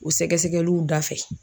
O sɛgɛsɛgɛliw da fɛ